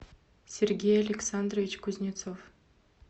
сергей александрович кузнецов